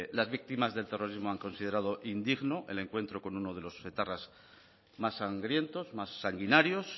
las víctimas del terrorismo han considerado indigno el encuentro con uno de los etarras más sangrientos más sanguinarios